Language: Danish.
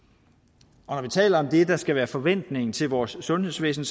og når vi taler om det der skal være forventningen til vores sundhedsvæsen